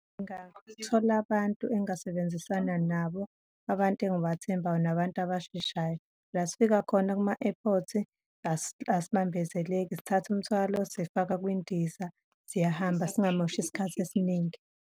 Ngingathola abantu engingasebenzisana nabo, abantu engibathembayo, nabantu abasheshayo. La sifika khona kuma-airport-i asibambezeleki, sithatha umthwalo sifaka kwindiza, siyahamba singamoshi isikhathi esiningi.